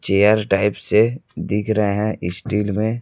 chair type से दिख रहे हैं स्टील में--